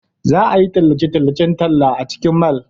Za a yi tallace-tallacen talla a cikin mall.